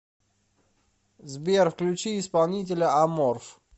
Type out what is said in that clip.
сбер включи исполнителя аморф